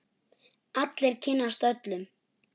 Allir kynnast öllum.